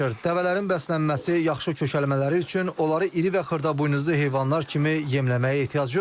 Dəvələrin bəslənməsi, yaxşı kökəlmələri üçün onları iri və xırdabuynuzlu heyvanlar kimi yemləməyə ehtiyac yoxdur.